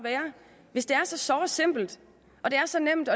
hvis det er så såre simpelt og det er så nemt